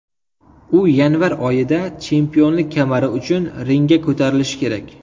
U yanvar oyida chempionlik kamari uchun ringga ko‘tarilishi kerak.